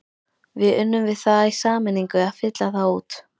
Við unnum við það í sameiningu að fylla þá út.